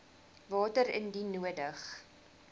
water indien nodig